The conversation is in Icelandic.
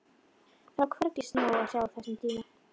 Það var hvergi snjó að sjá á þessum tíma.